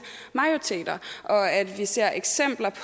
majoriteter og at vi ser eksempler